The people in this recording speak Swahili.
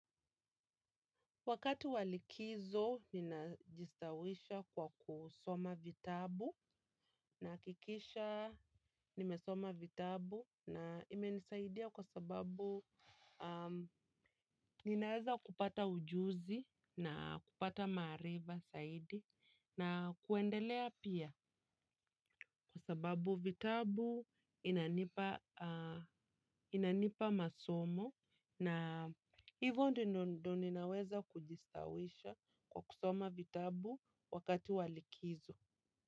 Wakati wa likizo ninajistawisha kwa kusoma vitabu nahakikisha nimesoma vitabu na imenisaidia kwa sababu ninaweza kupata ujuzi na kupata maarifa zaidi na kuendelea pia kwa sababu vitabu inanipa masomo. Na hivyo ndio ninaweza kujisawisha kwa kusoma vitabu wakati wa likizo.